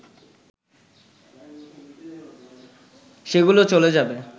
সেগুলোও চলে যাবে